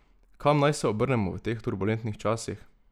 Kam naj se obrnemo v teh turbulentnih časih?